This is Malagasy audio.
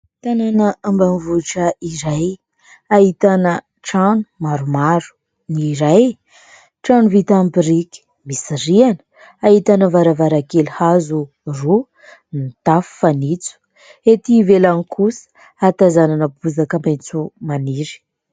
Tanàna ambaminy vohitra iray ahitana trano maromaro, ny iray trano vita amin'ny birika misy riana, ahitana varavarakely hazo roa, ny tafo fanitso. Ety velany kosa hatazanana bozaka maintso maniry.